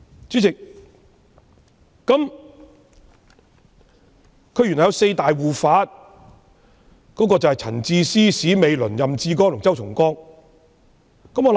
主席，她原來有四大護法：陳智思、史美倫、任志剛和周松崗。